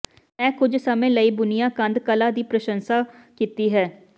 ਮੈਂ ਕੁੱਝ ਸਮੇਂ ਲਈ ਬੁਣਿਆ ਕੰਧ ਕਲਾ ਦੀ ਪ੍ਰਸ਼ੰਸਾ ਕੀਤੀ ਹੈ